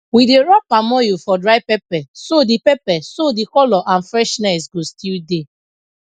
we dey rub palm oil for dry pepper so the pepper so the colour and freshness go still dey